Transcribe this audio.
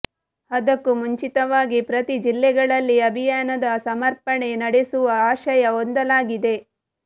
ಅದಕ್ಕೂ ಮುಂಚಿತವಾಗಿ ಪ್ರತಿ ಜಿಲ್ಲೆಗಳಲ್ಲಿ ಅಭಿಯಾನದ ಸಮರ್ಪಣೆ ನಡೆಸುವ ಆಶಯ ಹೊಂದಲಾಗಿದೆ